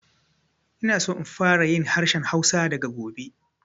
Ina so in fara yin harshen Hausa daga gobe